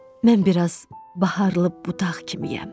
Mən biraz baharlı budaq kimiyəm.